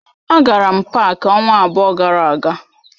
A gara m pááki ọnwa abụọ gara aga